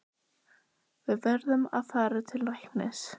Við verðum að fara til læknis.